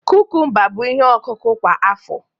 kukumba bụ ihe ọkụkụ kwa afọ